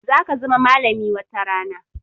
Za ka zama malami watarana